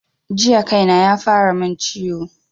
Jiya kaina yafara min ciwo